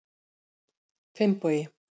Finnbogi